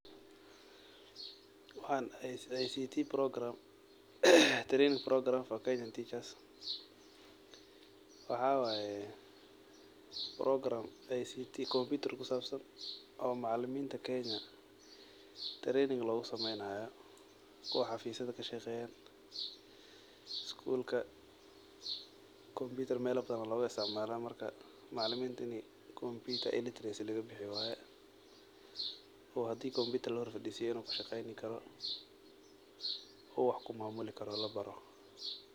Waxan wa Ict training program for kenyan teachers waxa waye brogram kusabsan macaliminta kenya oo tarain lugusameynayo kuwa xafisada kashaqayan skul melal badan aya logaisticmala kombutar marka macaliminta inii kombuter illetarecy lagabixiyo oo hadi kombutar kushaqe ladoho uu wax kumamulin karo.